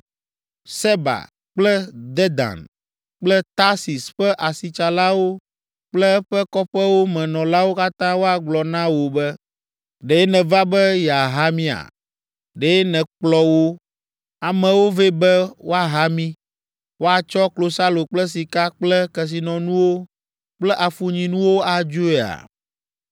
Seba kple Dedan kple Tarsis ƒe asitsalawo kple eƒe kɔƒewo me nɔlawo katã woagblɔ na wò be, “Ɖe nèva be yeaha mía? Ɖe nèkplɔ wò amewo vɛ be woaha mí, woatsɔ klosalo kple sika kple kesinɔnuwo kple afunyinuwo adzoea?”